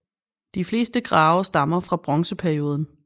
De fleste grave stammer fra bronzeperioden